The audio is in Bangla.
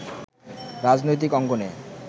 রাজনৈতিক অঙ্গনে